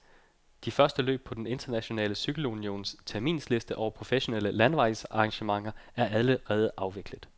De første løb på den internationale cykelunions terminsliste over professionelle landevejsarrangementer er allerede afviklet.